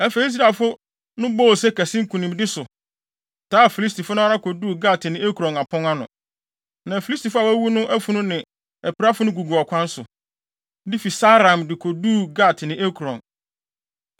Afei, Israelfo no bɔɔ ose kɛse nkonimdi so, taa Filistifo no ara koduu Gat ne Ekron apon ano. Na Filistifo a wɔawuwu no afunu ne apirafo no gugu ɔkwan so, de fi Saaraim de koduu Gat ne Ekron.